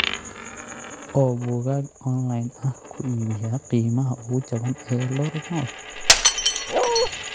oo buugaag online ah ku iibiya qiimaha ugu jaban ee eldoret north